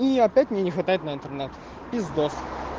и опять мне не хватает на интернет пиздос